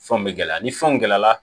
Fɛnw bɛ gɛlɛya ni fɛnw gɛlɛya la